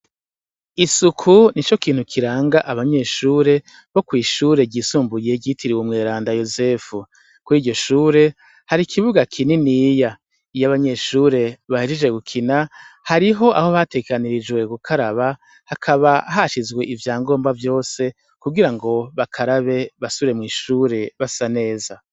Isuku nico kintu kirang' abanyeshure bo kwishure ry isumbuye ryitiriwe Umweranda Yozefu, kuriryo shure, har' ikibuga kininiya. Iy' abanyeshure bahejeje gukina harih' ahobategekanirijwe gukara, hakaba hashizw'ivyangobwa vyose kugira bakarabe basubire mw'ishure basa neza.